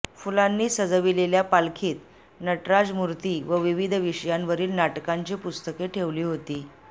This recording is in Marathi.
फुलांनी सजविलेल्या पालखीत नटराज मूर्ती व विविध विषयांवरील नाटकांची पुस्तके ठेवली होती